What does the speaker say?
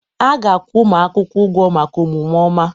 A ga-akwụ ụmụ akwụkwọ ụgwọ maka omume ọma